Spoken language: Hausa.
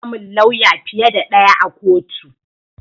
Ana samun lawya fiye da ɗaya a kotu